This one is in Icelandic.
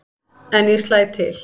En ég slæ til.